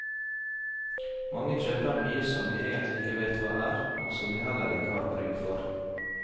Mange kjøper mye som de egentlig ikke vet hva er, og som de heller ikke har bruk for.